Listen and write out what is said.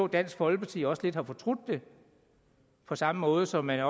dansk folkeparti også lidt har fortrudt det på samme måde som man